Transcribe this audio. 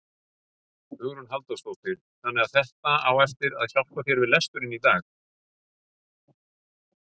Hugrún Halldórsdóttir: Þannig að þetta á eftir að hjálpa þér við lesturinn í dag?